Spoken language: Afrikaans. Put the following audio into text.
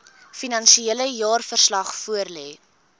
finansiële jaarverslag voorlê